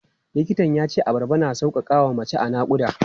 Likitan ya ce abarba na sauƙaƙa wa mace a naƙuda.